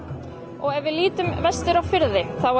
og ef við lítum vestur á firði þá var